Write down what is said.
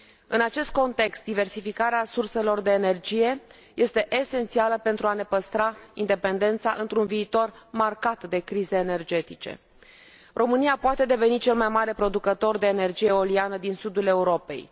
În acest context, diversificarea surselor de energie este esențială pentru a ne păstra independența într un viitor marcat de crize energetice. România poate deveni cel mai mare producător de energie eoliană din sudul Europei.